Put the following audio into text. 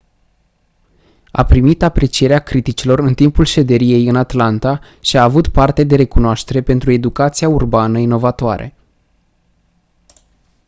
a primit aprecierea criticilor în timpul șederii ei în atlanta și a avut parte de recunoaștere pentru educația urbană inovatoare